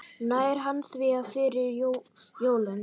Nær hann því fyrir jólin?